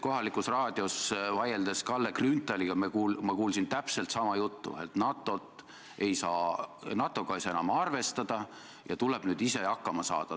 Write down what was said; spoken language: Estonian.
Kohalikus raadios kuulsin ma Kalle Grünthalilt täpselt sama juttu, et NATO-ga ei saa enam arvestada ja nüüd tuleb ise hakkama saada.